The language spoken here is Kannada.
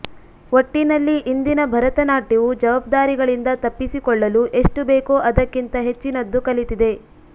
ಒಟ್ಟಿನಲ್ಲಿ ಇಂದಿನ ಭರತನಾಟ್ಯವು ಜವಾಬ್ದಾರಿಗಳಿಂದ ತಪ್ಪಿಸಿಕೊಳ್ಳಲು ಎಷ್ಟು ಬೇಕೋ ಅದಕ್ಕಿಂತ ಹೆಚ್ಚಿನದ್ದು ಕಲಿತಿದೆ